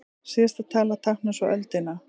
Síðasta talan táknar svo öldina.